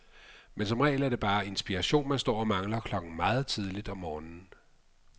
Men som regel er det bare inspiration, man står og mangler klokken meget tidligt om morgenen.